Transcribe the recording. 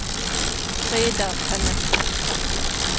Frida Tønnesen